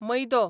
मैदो